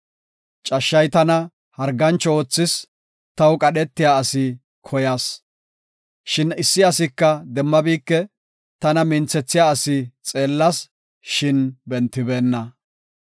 Cashshay tana hargancho oothis; taw qadhetiya asi koyas. Shin issi asika demmabike; tana minthethiya asi xeellas; shin bentibeenna.